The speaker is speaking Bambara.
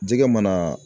Jɛgɛ mana